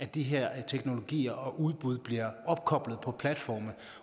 de her teknologier og udbud bliver opkoblet på platforme